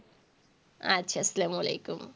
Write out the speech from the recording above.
আচ্ছা। আসসালামু আলাইকুম।